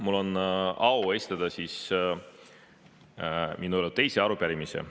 Mul on au esitada oma teine arupärimine.